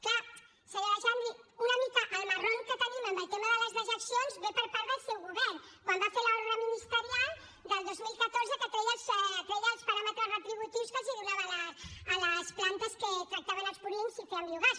clar senyora xandri una mica el marron que tenim amb el tema de les dejeccions ve per part del seu govern quan va fer l’ordre ministerial del dos mil catorze que treia els paràmetres retributius que donava a les plantes que tractaven els purins i feien biogàs